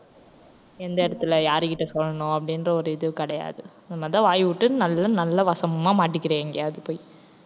எந்த இடத்துல யார்கிட்ட சொல்லணும் அப்படின்ற ஒரு இது கிடையாது இந்த மாதிரிதான் வாய்விட்டு நல்லா நல்லா வசம்மா மாட்டிக்கிற எங்கேயாவது போய்